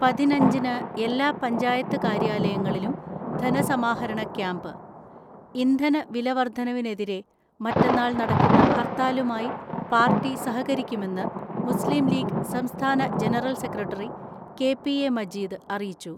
പതിനഞ്ചിന് എല്ലാ പഞ്ചായത്ത് കാര്യാലയങ്ങളിലും ധനസമാഹരണ ക്യാംപ്. ഇന്ധന വിലവർദ്ധനവിനെതിരെ മറ്റന്നാൾ നടക്കുന്ന ഹർത്താലുമായി പാർട്ടി സഹകരിക്കുമെന്ന് മുസ്ലിംലീഗ് സംസ്ഥാന ജനറൽ സെക്രട്ടറി കെ.പി.എ മജീദ് അറിയിച്ചു.